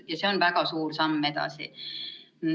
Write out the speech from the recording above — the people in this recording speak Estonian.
Ja see on väga suur samm edasi.